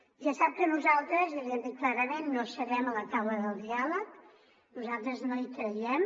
ja sap que nosaltres i li ho hem dit clarament no serem a la taula del diàleg nosaltres no hi creiem